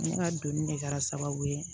Ne ka doni de kɛra sababu ye